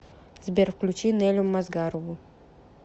сбер включи нелю мазгарову